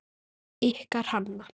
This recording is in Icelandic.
Ykkar Hanna.